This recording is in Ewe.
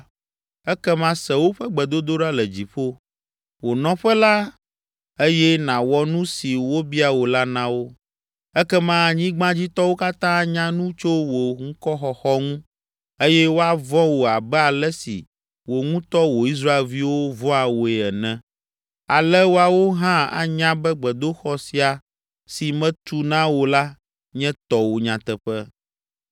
ekema se woƒe gbedodoɖa le dziƒo, wò nɔƒe la eye nàwɔ nu si wobia wò la na wo. Ekema anyigbadzitɔwo katã anya nu tso wò ŋkɔxɔxɔ ŋu eye woavɔ̃ wò abe ale si wò ŋutɔ wò Israelviwo vɔ̃a wòe ene, ale woawo hã anya be gbedoxɔ sia, si metu na wò la nye tɔwò nyateƒe.